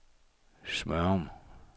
Smørum